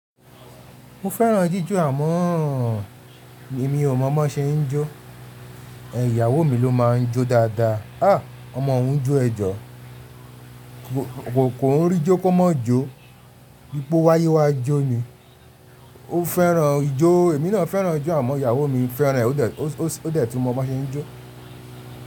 Mo fẹ́ràn jíjó àmọ́ mi ò mọ̀ bo se n jo Ẹ̀ iyawo mi ló máa ń jó dáadáa. À, ọmọ òún jó ẹjọ́. Kò n rí jó kó má jó. Bi po wáyé wá jó ni. Ó fẹ́ràn ijó. Èmi náà fẹ́ràn ijo àmọ́ iyawo mi fẹ́ràn ẹ́ ó dẹ̀ tí mọ́ bo se n jó.